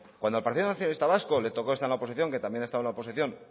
cuando al partido nacionalista vasco le tocó estar en la oposición que también ha estado en la oposición